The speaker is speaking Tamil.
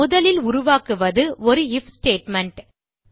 முதலில் உருவாக்குவது ஒரு ஐஎஃப் ஸ்டேட்மெண்ட்